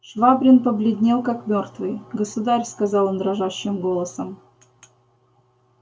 швабрин побледнел как мёртвый государь сказал он дрожащим голосом